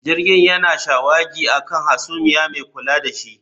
Jirgin yana shawagi a kan hasumiya mai kula da shi